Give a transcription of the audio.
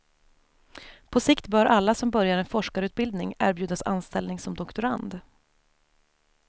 På sikt bör alla som börjar en forskarutbildning erbjudas anställning som doktorand.